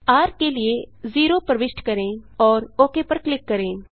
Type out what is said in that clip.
र के लिए 0 प्रविष्ट करें और ओक पर क्लिक करें